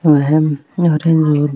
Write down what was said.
ओ है ऑरेंज और --